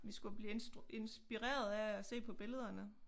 Vi skulle blive inspireret af at se på billederne